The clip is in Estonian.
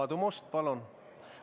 Aadu Must, palun!